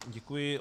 Děkuji.